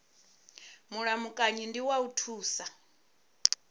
mulamukanyi ndi wa u thusa